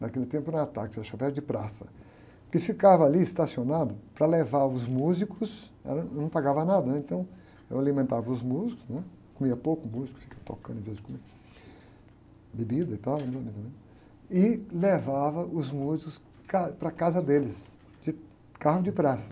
naquele tempo não era táxi, era de praça, que ficava ali estacionado para levar os músicos, era, não pagava nada, né? Então eu alimentava os músicos, né? Comiam pouco, os músicos, ficava tocando em vez de comer, bebida e tal, também, e levava os músicos para a casa deles, de carro de praça.